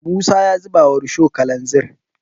musa ya zuba wa rusho kalanzir